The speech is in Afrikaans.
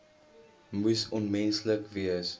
moes onmenslik gewees